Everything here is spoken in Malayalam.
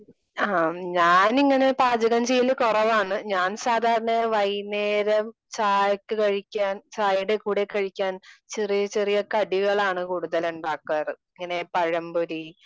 ആ ഞാൻ ഇങ്ങനെ പാചകം ചെയ്യല് കുറവാണ്. ഞാൻ സാധാരണ വൈകുന്നേരം ചായക്ക് കഴിക്കാൻ ചായയുടെ കൂടെ കഴിക്കാൻ ചെറിയ ചെറിയ കടികളാണ് കൂടുതൽ ഉണ്ടാക്കാറ് . ഇങ്ങനെ പഴം പൊരി